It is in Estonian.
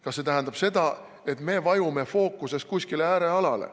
Kas see tähendab, et me vajume fookuses kuskile äärealale?